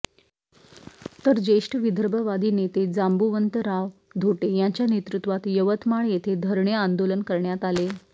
तर ज्येष्ठ विदर्भवादी नेते जांबुवंतराव धोटे यांच्या नेतृत्वात यवतमाळ येथे धरणे आंदोलन करण्यात आले